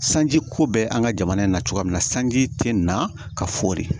Sanji ko bɛ an ka jamana in na cogoya min na sanji tɛ na ka fori